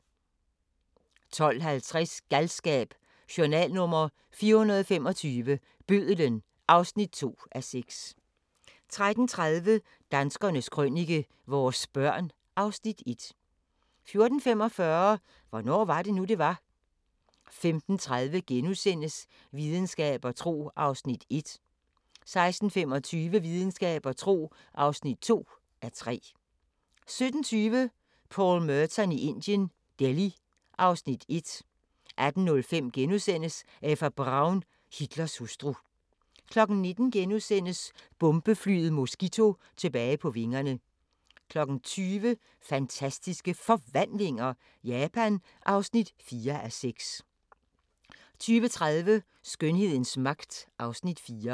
12:50: Galskab: Journal nr. 425 – Bødlen (2:6) 13:30: Danskernes Krønike - vores børn (Afs. 1) 14:45: Hvornår var det nu, det var? 15:30: Videnskab og tro (1:3)* 16:25: Videnskab og tro (2:3) 17:20: Paul Merton i Indien – Delhi (Afs. 1) 18:05: Eva Braun – Hitlers hustru * 19:00: Bombeflyet Mosquito tilbage på vingerne * 20:00: Fantastiske Forvandlinger – Japan (4:6) 20:30: Skønhedens magt (Afs. 4)